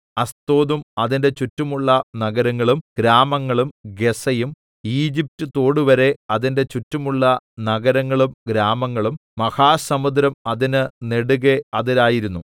അസ്തോദും അതിന്റെ ചുറ്റുമുള്ള നഗരങ്ങളും ഗ്രാമങ്ങളും ഗസ്സയും ഈജിപറ്റ് തോടുവരെ അതിന്റെ ചുറ്റുമുള്ള നഗരങ്ങളും ഗ്രാമങ്ങളും മഹാസമുദ്രം അതിന് നെടുകെ അതിരായിരുന്നു